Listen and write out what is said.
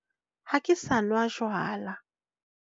Ha ke sa nwa jwala.